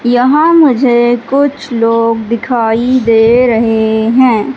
यहां मुझे कुछ लोग दिखाई दे रहे हैं।